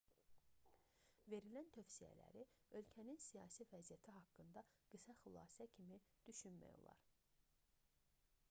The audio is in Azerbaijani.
verilən tövsiyələri ölkənin siyasi vəziyyəti haqqında qısa xülasə kimi düşünmək olar